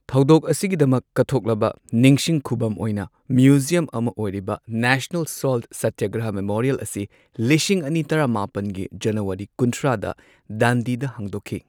ꯊꯧꯗꯣꯛ ꯑꯁꯤꯒꯤꯗꯃꯛ ꯀꯠꯊꯣꯛꯂꯕ ꯅꯤꯡꯁꯤꯡ ꯈꯨꯕꯝ ꯑꯣꯏꯅ ꯃ꯭ꯌꯨꯖꯤꯌꯝ ꯑꯃ ꯑꯣꯏꯔꯤꯕ ꯅꯦꯁꯅꯦꯜ ꯁꯣꯜꯠ ꯁꯇ꯭ꯌꯒ꯭ꯔꯍ ꯃꯦꯃꯣꯔꯤꯌꯦꯜ ꯑꯁꯤ ꯂꯤꯁꯤꯡ ꯑꯅꯤ ꯇꯔꯥꯃꯥꯄꯟꯒꯤ ꯖꯅꯨꯋꯥꯔꯤ ꯀꯨꯟꯊ꯭ꯔꯥꯗ ꯗꯥꯟꯗꯤꯗ ꯍꯥꯡꯗꯣꯛꯈꯤ꯫